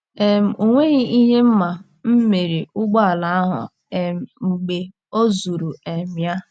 um O nweghị ihe m ma mere ụgbọala ahụ um mgbe ọ zụrụ um ya.